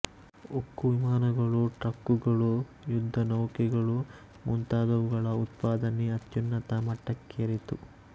ಉಕ್ಕು ವಿಮಾನಗಳು ಟ್ರಕ್ಕುಗಳು ಯುದ್ಧನೌಕೆಗಳು ಮುಂತಾದವುಗಳ ಉತ್ಪಾದನೆ ಅತ್ಯುನ್ನತ ಮಟ್ಟಕ್ಕೇರಿತು